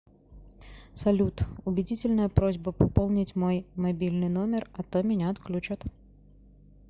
салют убедительная просьба пополнить мой мобильный номер а то меня отключат